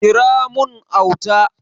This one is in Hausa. Kira mun Auta!